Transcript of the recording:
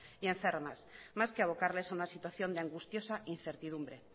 y enfermas más que a abocarles a una situación de angustiosa incertidumbre